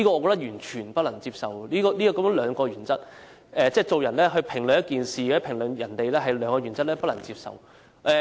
我完全不能接受雙重標準。即是說，評論同一事或人，卻用上兩套原則，我便不能接受。